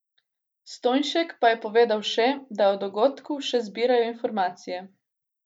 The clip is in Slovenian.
Stojnšek pa je povedal še, da o dogodku še zbirajo informacije.